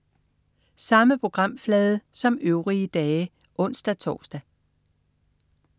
Samme programflade som øvrige dage (ons-tors)